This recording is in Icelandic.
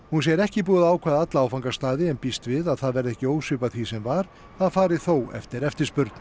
hún segir ekki búið að ákveða alla áfangastaði en býst við að það verði ekki ósvipað því sem var það fari þó eftir eftirspurn